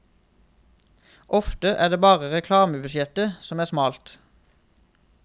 Ofte er det bare reklamebudsjettet som er smalt.